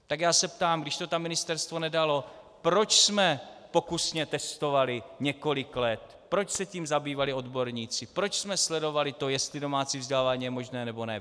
Tak já se ptám: Když to tam Ministerstvo nedalo, proč jsme pokusně testovali několik let, proč se tím zabývali odborníci, proč jsme sledovali to, jestli domácí vzdělávání je možné, nebo ne?